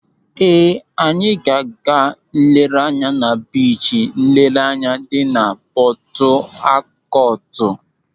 Ee, anyị ga-aga nlereanya na Biichi nlereanya dị na Pọtụakọtụ.